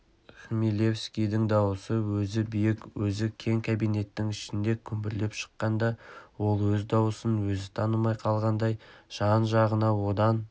хмелевскийдің дауысы өзі биік өзі кең кабинеттің ішінде күмбірлеп шыққанда ол өз дауысын өзі танымай қалғандай жан-жағына одан